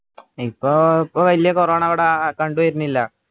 ഇപ്പോ ഇപ്പോ വലിയ corona ഇവിടെ കണ്ടു വരണില്ല